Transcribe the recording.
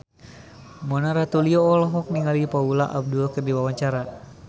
Mona Ratuliu olohok ningali Paula Abdul keur diwawancara